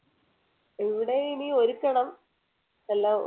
ഇവിടെ ഇനി ഒരുക്കണം എല്ലാം